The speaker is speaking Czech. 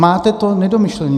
Máte to nedomyšlené.